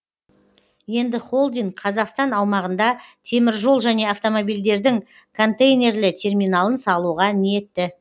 енді холдинг қазақстан аумағында теміржол және автомобильдердің контейнерлі терминалын салуға ниетті